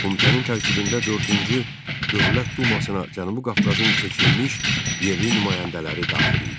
Komitənin tərkibində dördüncü Dövlət dumasına Cənubi Qafqazın seçilmiş yerli nümayəndələri daxil idi.